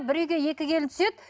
бір үйде екі келін түседі